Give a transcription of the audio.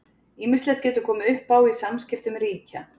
Ýmislegt getur komið upp á í samskiptum ríkja.